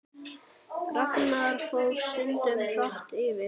Ragnar fór stundum hratt yfir.